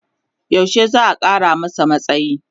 yaushe za'a Kara masa matsayi?